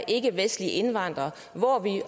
ikkevestlige indvandrere